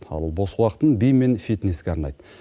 ал бос уақытын би мен фитнеске арнайды